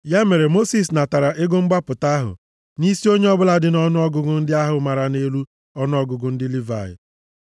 Ya mere, Mosis natara ego mgbapụta ahụ nʼisi onye ọbụla dị nʼọnụọgụgụ ndị ahụ mara nʼelu ọnụọgụgụ ndị Livayị.